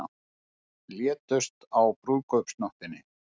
Létust á brúðkaupsnóttinni